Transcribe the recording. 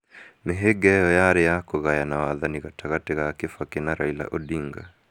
Mĩhĩnga ĩyo yarĩ ya kũgayana wathani gatagatĩ ka Kibaki na Raila Odinga.